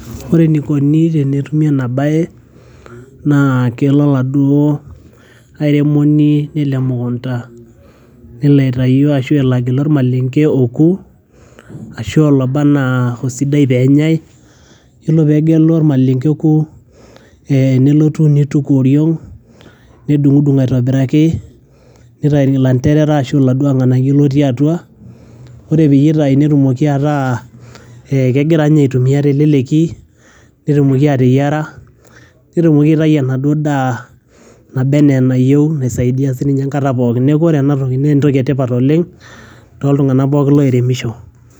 ore enikoni tenetumi ena baye, naa kelo oladuo airemoni nelo emukunta nelo aitayu ashu elo agilu ormalenge oku ashu oloba anaa osidai penyai yiolo pegelu ormalenge oku eh nelotu nituku oriong nedung'udung aitobiraki nitai ilanterara ashu iladuo ng'anayio lotii atua ore peyie eitai netumoki ataa eh kegira inye aitumia teleleki netumoki ateyiara netumoki aitai enaduo daa naba enaa enayieu naisaidia sininye enkata pookin neku ore enatoki naa entoki etipat oleng toltung'anak pookin loiremisho.